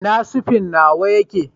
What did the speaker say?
ina sefen nawa yake?